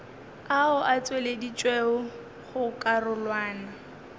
ao a tšweleditšwego go karolwana